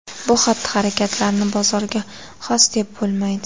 Bu xatti-harakatlarni bozorga xos deb bo‘lmaydi.